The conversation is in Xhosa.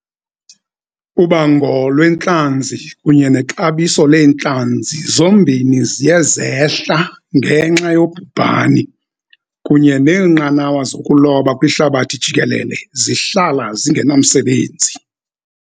Ubango lwentlanzi kunye nexabiso leentlanzi zombini ziye zehla ngenxa yobhubhani, kunye neenqanawa zokuloba kwihlabathi jikelele zihlala zingenamsebenzi.